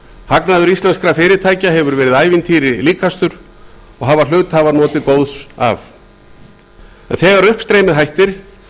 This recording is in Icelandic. hagnaður íslenskra fyrirtækja hefur verið ævintýri líkastur og hafa hluthafar notið góðs af þegar uppstreymið hættir